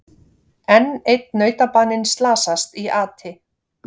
Enn einn nautabaninn slasast í ati